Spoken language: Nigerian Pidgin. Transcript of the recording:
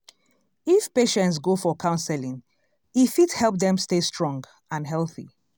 if patients go for counseling e fit help dem stay strong and healthy.